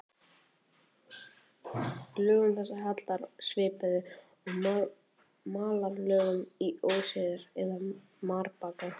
Lögum þessum hallar svipað og malarlögum í óseyri eða marbakka.